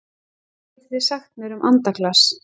Hvað getið þið sagt mér um andaglas?